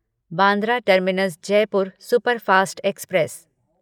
Bandra terminus Jaipur superfast express